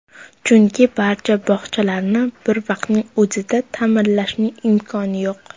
Chunki barcha bog‘chalarni bir vaqtning o‘zida ta’mirlashning imkoni yo‘q.